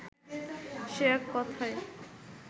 সে এক কথায়